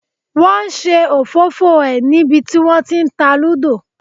Wọn ṣe òfófó ẹ ní bí wọn tí ń ta Lúdò.